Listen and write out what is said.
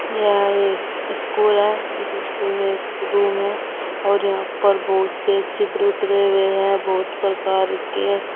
यह एक स्कूल है इस स्कूल में एक रूम है और यहां पर से चित्र भी है बहुत प्रकार के।